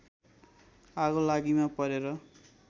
आगोलागीमा परेर